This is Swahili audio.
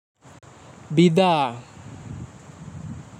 Bidhaa!